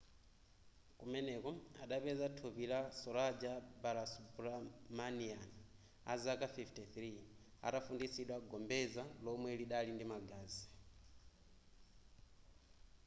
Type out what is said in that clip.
kumeneko adapeza thupi la saroja balasubramanian azaka 53 atafunditsidwa gombeza lomwe lidali ndi magazi